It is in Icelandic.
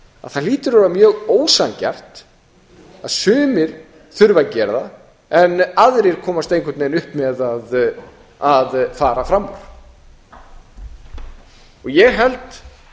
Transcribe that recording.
það hlýtur að vera mjög ósanngjarnt að sumir þurfa að gera það en aðrir komast einhvern veginn upp með að fara fram úr ég held